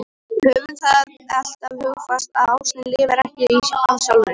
Höfum það alltaf hugfast að ástin lifir ekki af sjálfri sér.